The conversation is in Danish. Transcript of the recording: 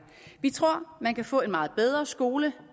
vi tror at man kan få en meget bedre skole